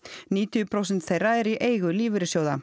níutíu prósent þeirra eru í eigu lífeyrissjóða